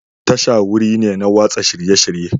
Tasha wuri ne na watsa shirye-shirye.